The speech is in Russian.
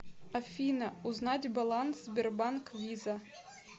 афина узнать баланс сбербанк виза